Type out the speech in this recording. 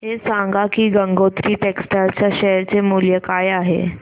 हे सांगा की गंगोत्री टेक्स्टाइल च्या शेअर चे मूल्य काय आहे